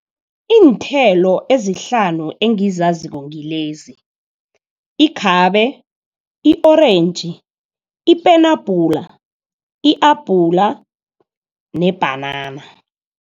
Iinthelo ezihlanu engizaziko ngilezi ikhabe, i-orentji, ipenabhula, i-abhula nebhanana.